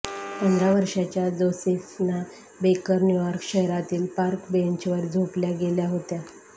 पंधरा वर्षांच्या Josephina Baker New York शहरातील पार्क बेंचवर झोपल्या गेल्या होत्या